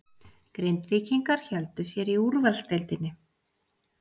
Grindvíkingar héldu sér í úrvalsdeildinni